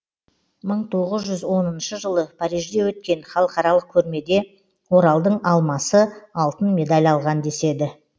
мың тоғыз жүз оныншы жылы парижде өткен халықаралық көрмеде оралдың алмасы алтын медаль алған деседі